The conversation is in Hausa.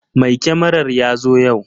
Mai kyamarar ya zo yau.